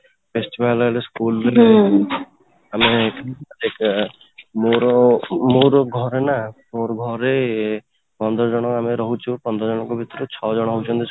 festival ହେଲେ school ମାନେ ଆମେ ମୋର ମୋର ଘରେ ନା ମୋର ଘରେ ପନ୍ଦର ଜଣ ଆମେ ରହୁଛୁ ପନ୍ଦର ଜଣଙ୍କ ଭିତରୁ ଛ ଜଣ ହଉଛନ୍ତି